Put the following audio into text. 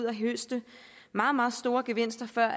og høste meget meget store gevinster før